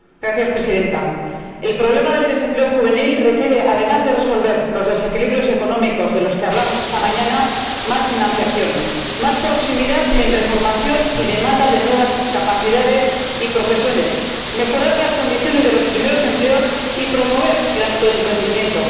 Señora Presidenta, el problema del desempleo juvenil requiere, además de resolver los desequilibrios económicos de los que hablamos esta mañana, más financiación, más proximidad entre formación y demanda de nuevas capacidades y profesiones, mejorar las condiciones de los primeros empleos y promover el autoemprendimiento.